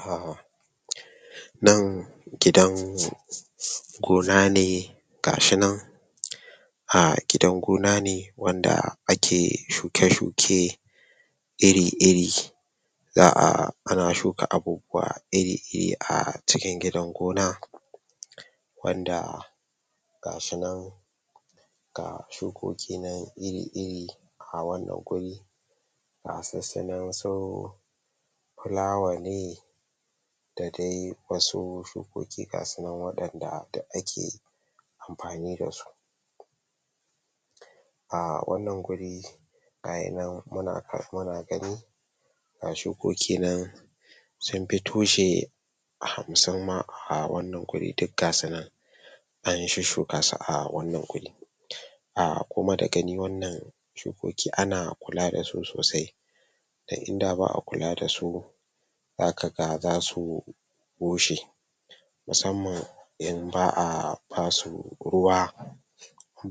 Ah A nan gidan gona ne gashi nan a gidan gona ne wanda ake shuke shuke, iri iri, za'a ana shuka abubuwa iri iri a cikin gidan gonar, wanda gasu nan ga shukoki nan iri iri a wanna guri, gasu su nan su fulawa ne da dai wasu shukoki gasu nan dai wadan da dik ake amfani da a wanna guri gayi nan muna gani ga shukoki nan sun fi tushe hamsin ma a wannan guri dik gasu nan an shusshuka su a wannan guri, a kuma da gani wannan shukoki ana kula dasu sosai dan inda ba'a kula dasu zaka ga zasu bushe, musamman in ba'a basu ruwa,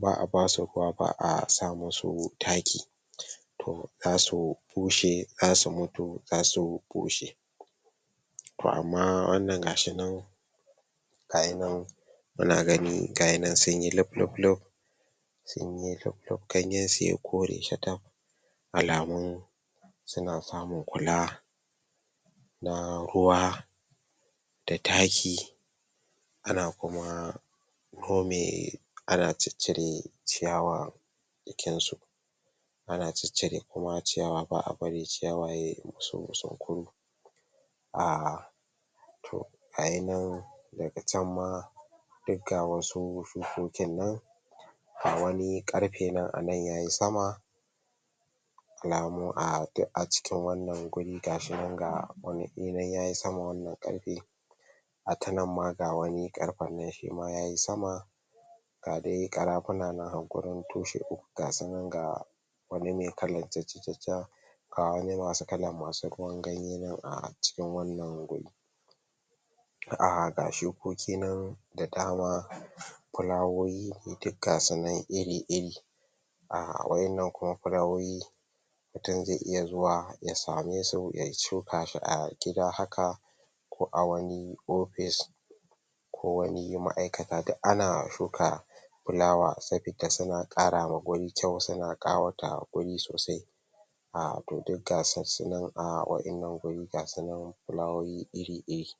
ba'a basu ruwa, ba'a sa musu taki toh zasu bushe zasu mutu, zasu bushe, toh amma wannan gashi nan gayi nan muna gani gayi nan sunyi luf luf, ganyen su yayi kore shataf, alamun suna samun kula na ruwa da taki,,, ana kuma nome ana ciccire ciyawa a jikin su, ana ciccire kuma ciyawa ba'a bari ciyawa yayi musu zunkuru, ah toh gayi nan daga can ma duk ga wasu shukokin nan ga wani karfe nan anan yayi sama alamu a dik a cikin wannan guri gashi nan ga wani yayi sama wannan karfe ta nan ma ga wani karfen nan shima yayi sama a ga dai karafuna nan a wurin, toshi uku gasu nan a wani me kalar jajaja ga wani masu kalar masu ganye nan a cikin wannan guri, a ga shukoki nan da dama fulawoyi duk gasu nan iri iri, a wayannan kuma fulawoyi mutum zai iya zuwa ya same su ya shuka su a gida haka ko a wani office ko wani ma'aikata dik ana shuka fulawa sabida suna karawa wuri kyau, suna kawata wuri sosai a toh duk gasussu nan, a wa'innan wuri gasu nan fulawoyi iri iri.